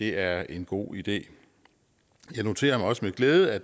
er en god idé jeg noterer mig også med glæde at